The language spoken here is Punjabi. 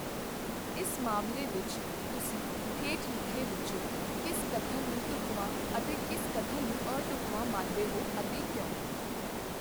ਇਸ ਮਾਮਲੇ ਵਿੱਚ ਤੁਸੀਂ ਹੇਠ ਲਿਖੇ ਵਿੱਚੋਂ ਕਿਸ ਕਥਨ ਨੂੰ ਢੁੱਕਵਾਂ ਅਤੇ ਕਿਸ ਕਥਨ ਨੂੰ ਅਢੁੱਕਵਾਂ ਮੰਨਦੇ ਹੋ ਅਤੇ ਕਿਉਂ?